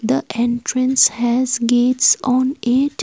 the entrance has gates on it.